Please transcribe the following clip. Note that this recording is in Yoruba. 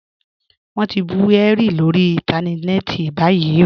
Wọn ti n bú Henry lórí ìntánẹ̀ẹ̀tì báyìí.